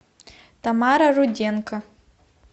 тамара руденко